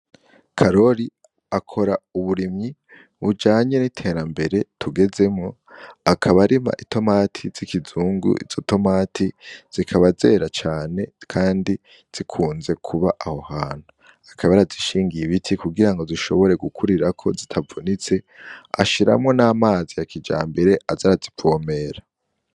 Karori akora uburimyi bujanye n'iterambere tugezemwo, akaba arima itomati z'ikizungu. Izo tomati zikaba zera cane kandi zikunze kuba aho hantu. Akaba yarazishingiye ibiti kugira ngo zishobore gukurirako zitavunitse, ashiramwo n'amazi ya kijambere aza arazivomera.